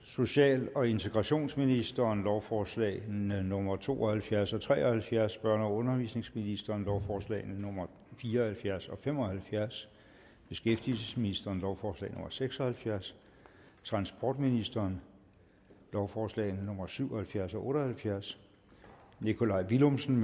social og integrationsministeren lovforslag nummer to og halvfjerds og tre og halvfjerds børne og undervisningsministeren lovforslag nummer fire og halvfjerds og fem og halvfjerds beskæftigelsesministeren lovforslag nummer seks og halvfjerds transportministeren lovforslag nummer syv og halvfjerds og otte og halvfjerds nikolaj villumsen